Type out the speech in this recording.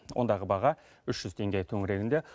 ондағы баға үш жүз теңге төңірегінде